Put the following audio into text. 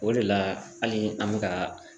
O de la hali an bɛ ka